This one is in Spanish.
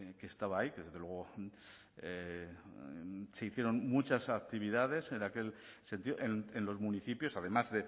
que estaba ahí que desde luego se hicieron muchas actividades en aquel sentido en los municipios además